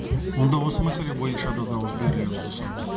онда осы мәселе бойынша да дауыс берулеріңізді сұраймын